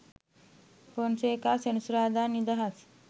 පොන්සේකා සෙනසුරාදා නිදහස්?